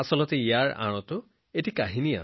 আচলতে ইয়াৰ আঁৰত এটা আমোদজনক কাহিনী আছে